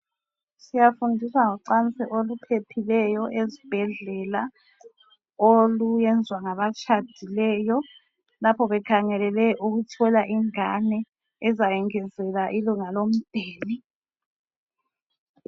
Siyafundisa ngocansi oluphephileyo ezibhedlela, oluyenzwa ngabatshadileyo lapho bekhangelele ukuthola ingane ezayengezelela ilunga lomndeni.